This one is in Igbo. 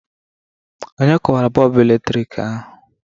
Onye kụwara bọlbụ eletrik ahụ?